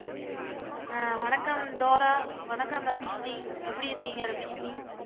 அஹ் வணக்கம் டோரா வணக்கம் ரபிஷினி எப்படி இருக்கீங்க ரபிஷினி